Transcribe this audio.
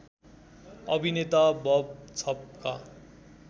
अभिनेता बब छपका